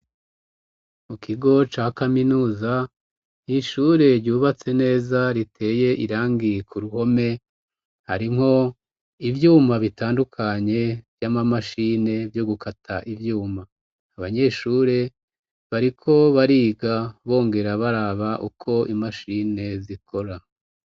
Mu kigo ca kaminuza n'ishure ryubatse neza riteye irangi ku ruhome, harimwo ivyuma bitandukanye vy'amamashine vyo gukata ivyuma, abanyeshure bariko bariga bongera baraba uko imashine zikora.